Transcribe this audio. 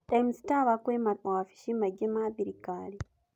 Times Tower kwĩ mawabici maingĩ ma thirikari.